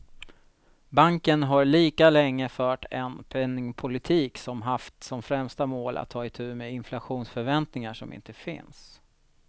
Banken har lika länge fört en penningpolitik som haft som främsta mål att ta itu med inflationsförväntningar som inte finns.